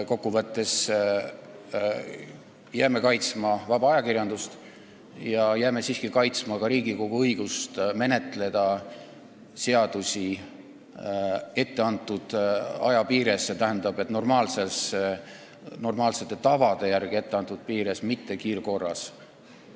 Kokku võttes jääme kaitsma vaba ajakirjandust ja siiski ka Riigikogu õigust menetleda seaduseelnõusid etteantud aja piires, st normaalsete tavade järgi etteantud aja piires, mitte kiirkorras.